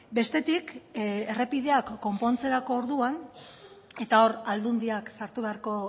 bestetik errepideak konpontzerako orduan eta hor aldundiak sartu beharko